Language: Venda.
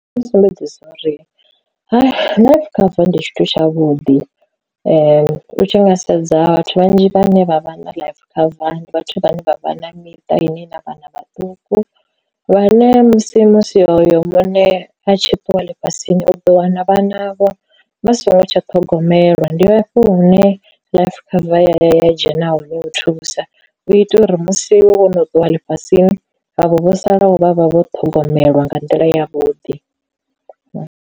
Ndi musumbedzisa uri life cover ndi tshithu tshavhuḓi u tshi nga sedza vhathu vhanzhi vhane vha vha na life cover ndi vhathu vhane vha vha na miṱa ine na vhana vhaṱuku, vhane musi musi hoyo muṋe a tshi ṱuwa ḽifhasini u ḓo wana vhana vho vha songo tsha ṱhogomelwa, ndi hafho hune life cover ya dzhena hone u thusa u itela uri musi wono ṱuwa ḽifhasini havho vho salaho vhavha vho ṱhogomelwa nga nḓila yavhuḓi.